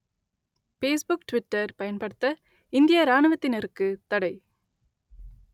Facebook Twitter பயன்படுத்த இந்திய இராணுவத்தினருக்குத் தடை